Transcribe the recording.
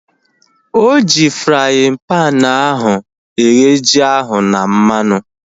Oji fraaịn panu ahu eghe ji ahu na mmanụ